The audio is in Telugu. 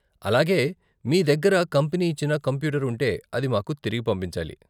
అలాగే, మీ దగ్గర కంపెనీ ఇచ్చిన కంప్యూటర్ ఉంటే అది మాకు తిరిగి పంపించాలి.